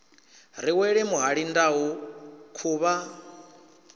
ri wele muhali ndau khuvha